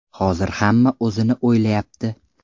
Hozir hamma o‘zini o‘ylayapti.